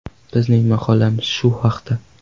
Bizning maqolamiz shu haqda.